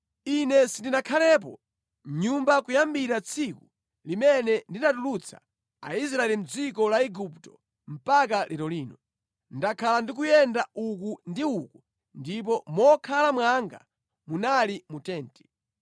Ine sindinakhalepo mʼnyumba kuyambira tsiku limene ndinatulutsa Aisraeli mʼdziko la Igupto mpaka lero lino. Ndakhala ndikuyenda uku ndi uku ndipo mokhala mwanga munali mu tenti.